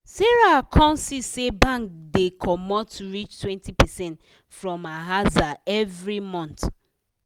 sarah come see say bank da comot reach 20 percent from her aza every month